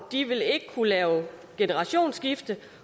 de vil ikke kunne lave et generationsskifte